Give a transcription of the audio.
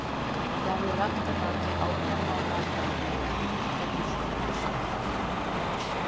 Ég hafði lagt að baki átján mánaða þjálfun gegnum súrt og sætt.